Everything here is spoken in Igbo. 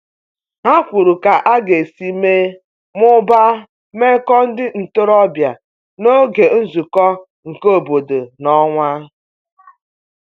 Ha kwuru ka aga esi mee/mụbaa meko ndi ntorobia n'oge nzuko nke obodo n'onwa